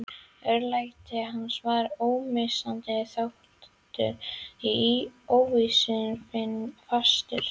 Örlæti hans var ómissandi þáttur í ósvífnu fasinu.